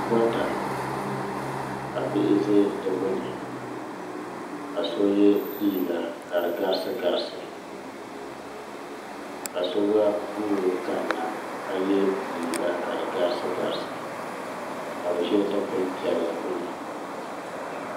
Goota ka bihi zɛ di gbuni ka so ye liiga ka di garisi garisi ka so gba guuri kani na ka ye liiga kadi garisi garisi ka bi zɛ dukpuni piɛlli gbuni.